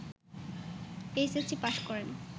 HSC pass করেন